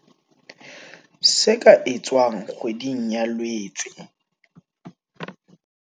Se ka etswang kgweding ya Loetse